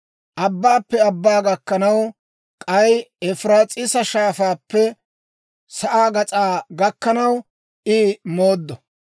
Abbaappe abbaa gakkanaw, k'ay Efiraas'iisa Shaafaappe sa'aa gas'aa gakkanaw I mooddo.